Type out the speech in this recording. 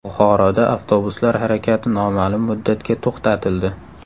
Buxoroda avtobuslar harakati noma’lum muddatga to‘xtatildi.